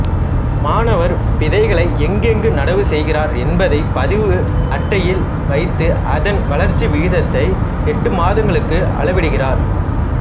மாணவர் விதைகளை எங்கெங்கு நடவு செய்கிறார் என்பதை பதிவு அட்டையில் வைத்து அதன் வளர்ச்சி விகிதத்தை எட்டு மாதங்களுக்கு அளவிடுகிறார்